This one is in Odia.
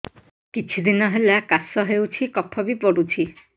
କିଛି ଦିନହେଲା କାଶ ହେଉଛି କଫ ବି ପଡୁଛି